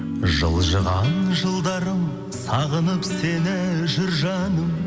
жылжыған жылдарым сағынып сені жүр жаным